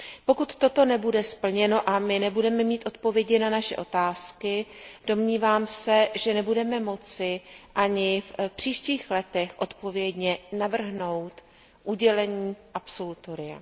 Pokud toto nebude splněno a my nebudeme mít odpovědi na naše otázky, domnívám se, že nebudeme moci ani v příštích letech odpovědně navrhnout udělení absolutoria.